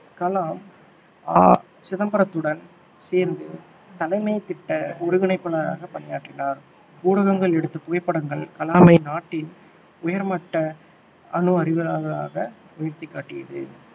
Kalam, R சிதம்பரத்துடன் சேர்ந்து தலைமை திட்ட ஒருங்கிணைப்பாளராக பணியாற்றினார் ஊடகங்கள் எடுத்த புகைப்படங்கள் கலாமை நாட்டின் உயர்மட்ட அணு அறிவியலாளராக உயர்த்திக்காட்டியது